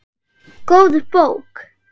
Góð bók.